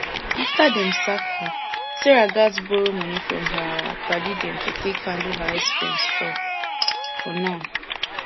after dem sack her sarah gats borrow money from her padi dem to take handle her expenses for for now